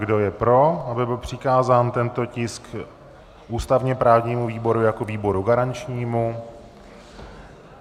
Kdo je pro, aby byl přikázán tento tisk ústavně-právnímu výboru jako výboru garančnímu?